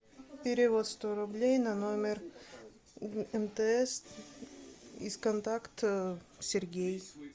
перевод сто рублей на номер мтс из контакта сергей